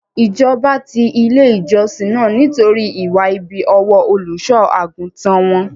Ìjọba ti ilé ìjọsìn náà nítorí ìwà ibi ọwọ́ Olùṣọ́-àgùntàn won.